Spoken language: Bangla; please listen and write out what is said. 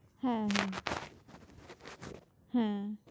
হ্যাঁ হ্যাঁ হ্যাঁ।